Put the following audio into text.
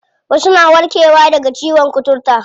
Wasu na warke wa daga ciyon kuturta.